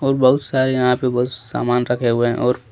और बहुत सारे यहां पे बहुत सामान रखे हुए हैं और--